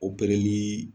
Opereli